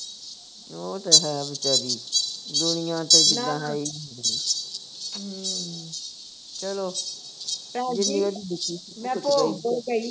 ਉਹ ਤੇ ਹੈ ਵਿਚਾਰੀ ਦੁਨੀਆਂ ਤੇ ਵਿਚਾਰੀ ਜਿੱਦਾਂ ਆਈ ਹੁੰਦੀ ਨਹੀਂ ਹਮ ਚਲੋ ਜਿੰਨੀ ਉਹਦੀ ਲਿਖੀ ਸੀ